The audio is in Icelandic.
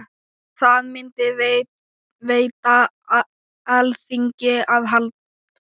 Það myndi veita Alþingi aðhald.